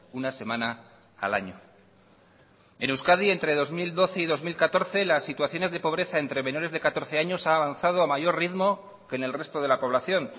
una semana al año en euskadi entre dos mil doce y dos mil catorce las situaciones de pobreza entre menores de catorce años ha avanzado a mayor ritmo que en el resto de la población